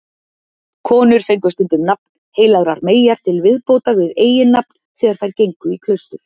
Konur fengu stundum nafn heilagrar meyjar til viðbótar við eiginnafn þegar þær gengu í klaustur.